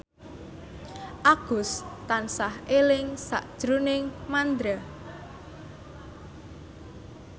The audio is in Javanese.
Agus tansah eling sakjroning Mandra